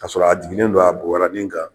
Kaa sɔrɔ a jiginnen don a bobarani kan